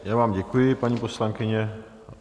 Já vám děkuji, paní poslankyně.